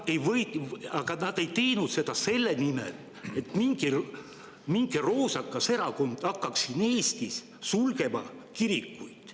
Aga nad ei teinud seda selle nimel, et mingi roosakas erakond hakkaks siin Eestis sulgema kirikuid.